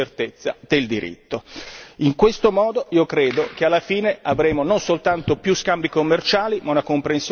In questo modo io credo che alla fine avremo non soltanto più scambi commerciali ma una comprensione culturale reciproca migliore.